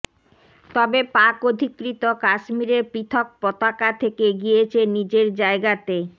তবে পাক অধিকৃত কাশ্মীরের পৃথক পতাকা থেকে গিয়েছে নিজের জায়গাতেই